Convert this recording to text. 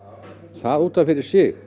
það út af fyrir sig